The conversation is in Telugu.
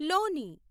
లోని